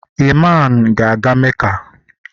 Iman ga aga Meca